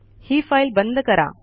ही file बंद करा